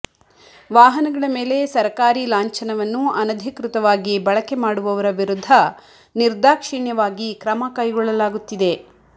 ವಾಹನಗಳ ಮೇಲೆ ಸರಕಾರಿ ಲಾಂಛನವನ್ನು ಅನಧಿಕೃತವಾಗಿ ಬಳಕೆ ಮಾಡುವವರ ವಿರುದ್ಧ ನಿರ್ದಾಕ್ಷಿಣ್ಯವಾಗಿ ಕ್ರಮ ಕೈಗೊಳ್ಳಲಾಗುತ್ತಿದೆ